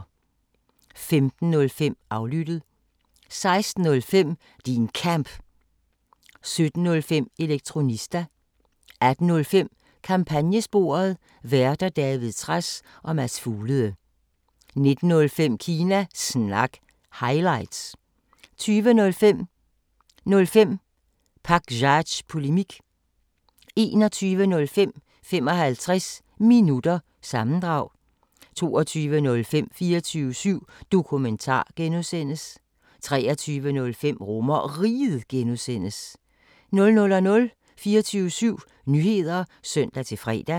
15:05: Aflyttet 16:05: Din Kamp 17:05: Elektronista 18:05: Kampagnesporet: Værter: David Trads og Mads Fuglede 19:05: Kina Snak – highlights 20:05: 05 Pakzads Polemik 21:05: 55 Minutter – sammendrag 22:05: 24syv Dokumentar (G) 23:05: RomerRiget (G) 00:00: 24syv Nyheder (søn-fre)